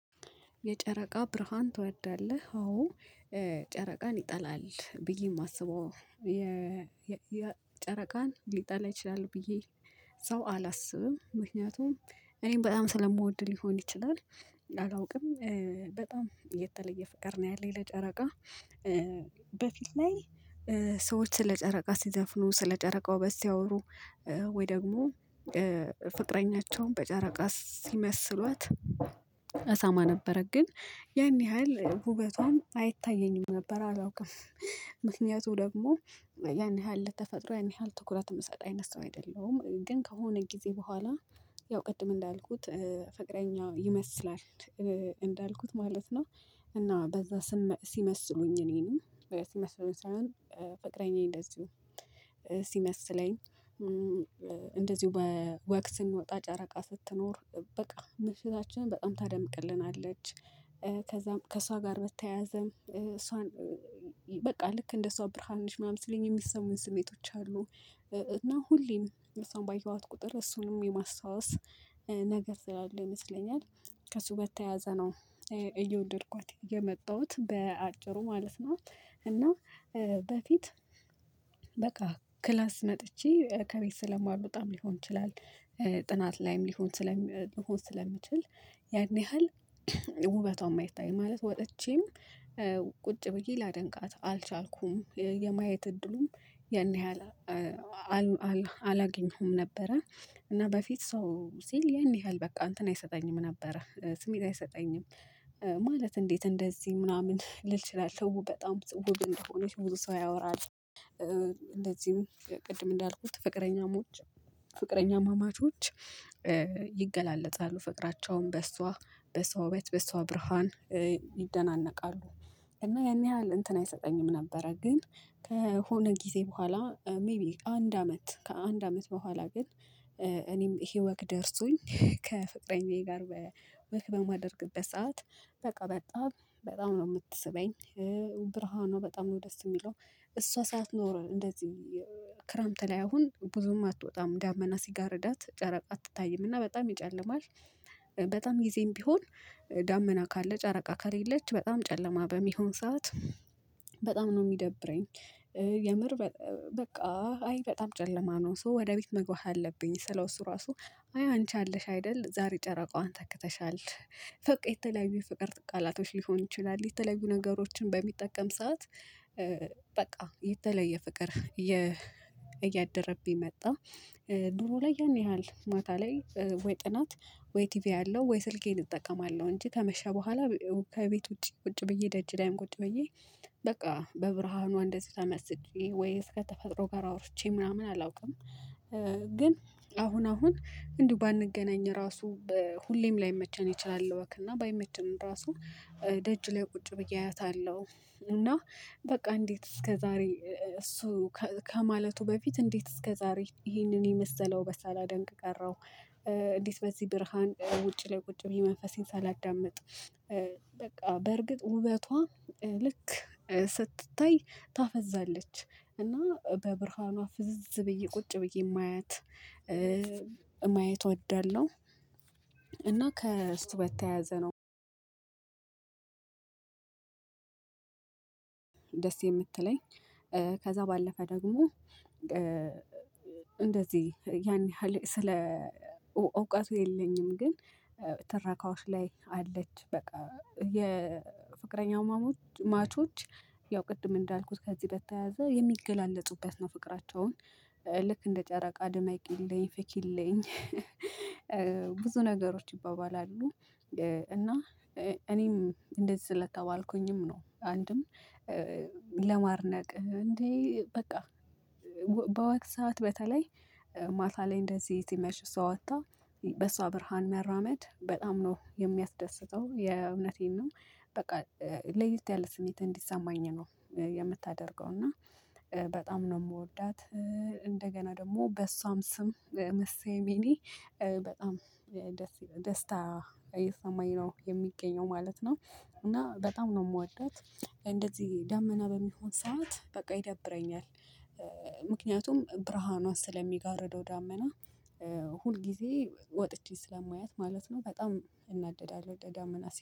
የጨረቃ ብርሃን ትወዳለህ? አዎ ጨረቃን ይጠላል ብዬ የማስበው የጨረቃን ሊጠላ ይችላል ብዬ ሰው አላስብም። ምክንያቱም እኔም በጣም ስለምወድ ሊሆን ይችላል። አላውቅም በጣም የተለየ ፍቅር ነው ያለኝ ለጨረቃ። በፊት ላይ ሰዎች ስለ ጨረቃ ሲዘፍኑ ስለ ጨረቃው ውበት ሲያወሩ ወይ ደግሞ ፍቅረኛቸውን በጨረቃ ሲመስሏት። እሰማ ነበረ ግን ያን ያህል ውበቷም አይታየኝም ነበር አላውቅም። ምክንያቱም ደግሞ ያን ያህል ለተፈጥሮ ያን ያህል ትኩረት የምሰጥ አይነት ሰው አይደለሁም። ግን ከሆነ ጊዜ በኋላ ያው ቅድም እንዳልኩት ፍቅረኛ ይመስላል። እንዳልኩት ማለት ነው። እና በዛ ሲመስሉኝ እኔንም ሲመስሉኝ ሳይሆን ፍቅረኛዬ እንደዚሁ ሲመስለኝ። እንደዚሁ በወቅት ስንወጣ ጨረቃ ስትኖር በቃ ምሽታችንን በጣም ታደምቅልናለች። ከእሷ ጋር በተያያዘም እሷን በቃ ልክ እንደ እሷ ብርሃን ነሽ ምናምን ሲሉኝ የሚሰሙኝ ስሜቶች አሉ። እና ሁሌም እሷን ባየኋት ቁጥር እሱንም የማስታወስ ነገር ስላለ ይመስለኛል ከሱ በተያያዘ ነው። እየወደድኳት የመጣሁት በአጭሩ ማለት ነው። እና በፊት በቃ ክላስ መጥቼ ከቤት ስለማልወጣም ሊሆን ይችላል። ጥናት ላይም ሊሆን ሊሆን ስለሚችል ያን ያህል ውበቷን የማይታይ ማለት ወጥቼም ቁጭ ብዬ ላደንቃት አልቻልኩም የማየት እድሉም ያን ያህል አላገኘሁም ነበረ። እና በፊት ሰው ሲል ያን ያህል በቃ እንትን አይሰጠኝም ነበረ ስሜት አይሰጠኝም። ማለት እንዴት እንደዚህ ምናምን ልል ይችላል በጣም ውብ እንደሆነች ብዙ ሰው ያወራል። እንደዚሁ ቅድም እንዳልኩት ፍቅረኛሞች ፍቅረኛማማቾች ይገላለጣሉ ፍቅራቸውን በእሷ በእሷ ውበት በእሷ ብርሃን ይደናነቃሉ። እና ያን ያህል እንትን አይሰጠኝም ነበረ። ግን ከሆነ ጊዜ በኋላ ሜይቢ አንድ አመት ከአንድ አመት በኋላ ግን እኔም ይሄ ወግ ደርሶኝ ከፍቅረኛዬ ጋር ወክ በማደርግበት ሰዓት በቃ በጣም በጣም ነው የምትስበኝ። ብርሃኑ በጣም ነው ደስ የሚለው እሷ ሳትኖር እንደዚህ ክረምት ላይ አሁን ብዙም አትወጣም ዳመና ሲጋርዳት ጨረቃ አትታይም እና በጣም ይጨልማል። በጣም ጊዜም ቢሆን ዳመና ካለ ጨረቃ ከሌለች በጣም ጨለማ በሚሆን ሰዓት በጣም ነው የሚደብረኝ። የምር በቃ አይ በጣም ጨለማ ነው ሶ ወደ ቤት መግባት አለብኝ ስለው እሱ ራሱ አይ አንቺ አለሽ አይደል ዛሬ ጨረቃዋን ተክተሻል። በቃ የተለያዩ የፍቅር ቃላቶች ሊሆን ይችላል የተለያዩ ነገሮችን በሚጠቀም ሰዓት በቃ የተለየ ፍቅር እያደረብኝ መጣ። ዱሮ ላይ ያን ያህል ማታ ላይ ወይ ጥናት ወይ ቲቪ አያለሁ ወይ ስልኬን እጠቀማለሁ እንጂ ከመሻ በኋላ ከቤት ውጪ ውጪ ብዬ ደጅ ላይም ቁጭ ብዬ በቃ በብርሃኑ እንደዚህ ተመስጬ ወይ እስከተፈጥሮ ጋር አውርቼ ምናምን አላውቅም። ግን አሁን አሁን እንዲሁ ባንገናኝ ራሱ ሁሌም ላይመቸን ይችላል ወክ እና ባይመቸንም ራሱ ደጅ ላይ ቁጭ ብዬ አያታለሁ። እና በቃ እንዴት እስከዛሬ እሱ ከማለቱ በፊት እንዴት እስከዛሬ ይሄንን የመሰለው ውበት ሳላደንቅ ቀረሁ። እንዴት በዚህ ብርሃን ውጪ ላይ ቁጭ ብዬ መንፈሴን ሳላዳምጥ በቃ በእርግጥ ውበቷ ልክ ስትታይ ታፈዛለች እና በብርሃኗ ፍዝዝ ብዬ ቁጭ ብዬ የማያት ማየት እወዳለሁ። እና ከስትወታ ያዘነው ደስ የምትለኝ ከዛ ባለፈ ደግሞ እንደዚህ ያን ያህል ስለ እውቀቱ የለኝም። ግን ትረካዎች ላይ አለች በቃ የፍቅረኛው ማቾች ያው ቅድም እንዳልኩት ከዚህ በተያያዘ የሚገላለጡበት ነው ፍቅራቸውን። ልክ እንደ ጨረቃ ድመቅ ይለኝ ፍቅር ይለኝ ብዙ ነገሮች ይባባላሉ። እና እኔም እንደዚህ ስለተባልኩኝም ነው አንድም ለማርነቅ እንዴ በቃ በወቅት ሰዓት በተለይ ማታ ላይ እንደዚህ ሲመሽ እሷ ወጣ በሷ ብርሃን መራመድ በጣም ነው የሚያስደስተው የእውነቴን ነው። በቃ ለይተህ ያለ ስሜት እንዲሰማኝ ነው። የምታደርገው እና በጣም ነው እንደገና ደግሞ በሷም ስም መስሴ ሚኒ በጣም ደስ ደስታ እየሰማኝ ነው የሚገኘው ማለት ነው። እና በጣም ነው የምወደው እንደዚህ ደመና በሚሆን ሰዓት በቃ ይደብረኛል። ምክንያቱም ብርሃኗ ስለሚጋርደው ዳመና ሁል ጊዜ ወጥቼ ስለማያት ማለት ነው በጣም እናደዳለሁ ደጋመና